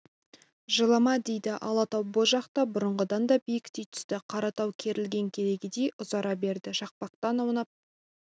жылама дейді алатау бұ жақта бұрынғыдан да биіктей түсті қаратау керілген керегедей ұзара берді шақпақтан аунап